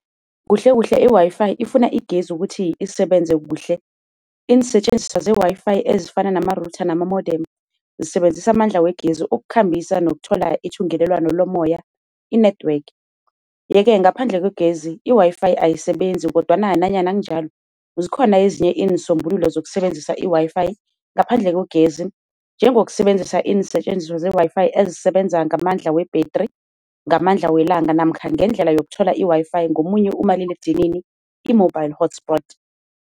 Kuhle kuhle, i-WiFi ifuna igezi ukuthi isebenze kuhle. Iinsetjenziswa ze-WiFi ezifana nerutha namamodemu zisebenzisa amandla wegezi ukukhambisa nokuthola ithungelelwano lomoya i-network, yeke ngaphandle kwegezi i-WiFi ayisebenzi, kodwana nanyana kunjalo, zikhona ezinye iinsombululo zokusebenzisa i-WiFi ngaphandle kwegezi. Njengokusebenzisa iinsetjenziswa ze-WiFi ezisebenza ngamandla webhetri, ngamandla welanga namkha ngendlela yokuthola i-WiFi ngomunye umaliledinini i-mobile hotspot.